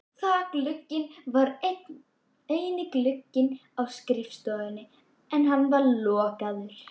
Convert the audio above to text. Þakglugginn var eini glugginn á skrifstofunni en hann var lokaður.